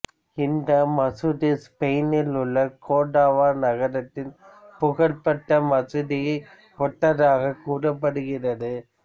இந்த மசூதி ஸ்பெயினில் உள்ள கோர்டோவா நகரத்தின் புகழ்பெற்ற மசூதியை ஒத்ததாகக் கூறப்படுகிறது